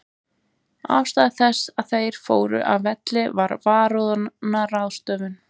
Ástæða þess að þeir fóru af velli var varúðarráðstöfun.